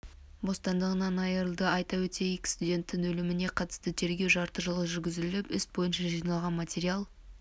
бостандығынан айрылды айта өтейік студенттің өліміне қатысты тергеу жарты жыл жүргізіліп іс бойынша жиналған материал